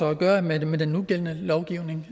at gøre med med den nugældende lovgivning